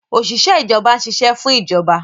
Òṣìṣẹ́ ìjọba ń ṣiṣẹ́ fún ìjọba